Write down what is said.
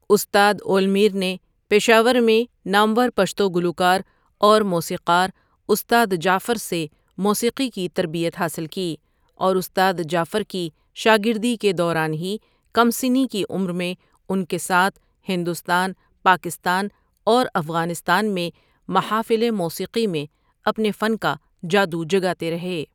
استاد اول میر نے پشاور میں نامور پشتو گلوکار اور موسیقار استاد جعفر سے موسیقی کی تربیت حاصل کی اور استاد جعفر کی شاگردی کے دوران ہی کم سنی کی عمر میں ان کے ساتھ ہندوستان، پاکستان اور افغانستان میں محافل موسیقی میں اپنے فن کا جادو جگاتے رہے ۔